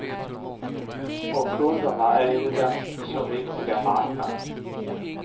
Och kunderna är ju den så viktiga marknaden.